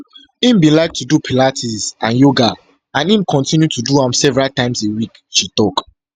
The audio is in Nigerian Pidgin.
im bin like to do pilates and yoga and im kotinu to do am several times a week she tok